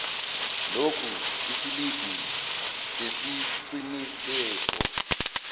lokhu isiliphi sesiqinisekiso